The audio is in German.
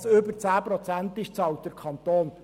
Denn was über 10 Prozent ist, bezahlt ja der Kanton.